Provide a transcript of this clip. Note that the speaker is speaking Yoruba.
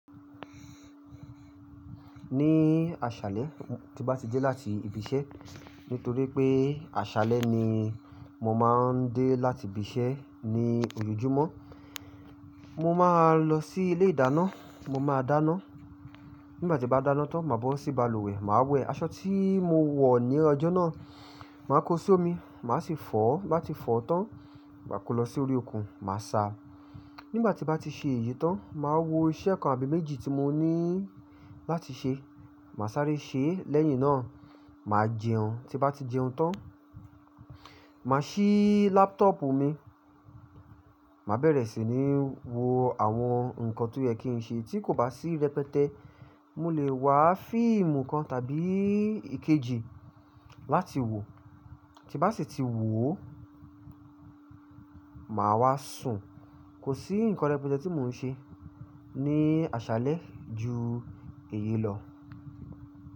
Ní àṣálẹ́ tí bá ti dé láti ibi iṣẹ́ nítorí pé àṣálẹ́ ni mo máa ń dé láti ibi iṣẹ́ ní ojoojúmọ́. Mo máa lọ sí ilé ìdáná, mo máa dáná. Nígbà tí bá dáná tán máa bọ́ sí balùwẹ̀, màá wẹ̀. Aṣọ tí mo wọ̀ ní ọjọ́ náà, màá kó sí omi, màá sì fọ̀, n bá ti fọ̀ tán, máa kó lọ sí orí okùn, màá sa. Nígbà tí ń bá ti ṣe èyí tán, màá wo iṣẹ́ kan àbí méjì tí mo ní láti ṣe, màá sáré ṣe. Lẹ́yìn náà, màá jẹun, tí bá ti jẹun tán, màá ṣí laptop mi, màá bẹ̀rẹ̀ sí ní wo àwọn ǹkan tó yẹ kí n ṣe. Tí kò bá sí rẹpẹtẹ, mo lè wá fíìmù kan tàbí ìkejì láti wò. Tí bá sì ti wò ó, màá wá sùn. Kò sí nǹkan rẹpẹtẹ tí mò ń ṣe ní àṣálẹ́ ju èyí lọ.